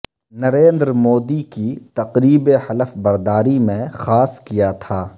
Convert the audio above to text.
نریندر مودی کی تقریب حلف برداری میں خاص کیا تھا